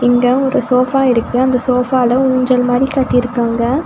இங்க ஒரு சோஃபா இருக்கு அந்த சோஃபால ஊஞ்சல் மாரி கட்டிருக்காங்க.